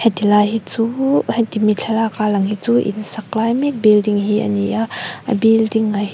ti lai hi chu he ti mi thlalak a lang hi chu in sak lai mek building hi a ni a a building a hi--